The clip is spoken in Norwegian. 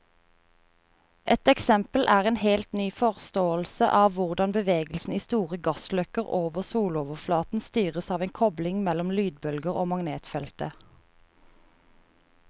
Et eksempel er en helt ny forståelse av hvordan bevegelsen i store gassløkker over soloverflaten styres av en kobling mellom lydbølger og magnetfeltet.